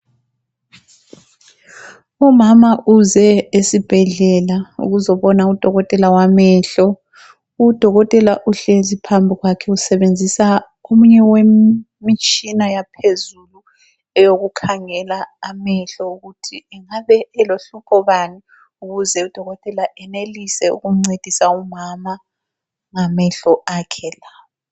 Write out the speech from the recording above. Umama uze esibhedlela ukuzobona udokotela wamehlo. Udokotela uhlezi phambi kwakhe usebenzisa omunye wemitshina yaphezulu eyokukhangela amehlo ukuthi angabe elohlupho bani ukuze udokotela enelise ukumncedisa umama ngamehlo akhe lawa.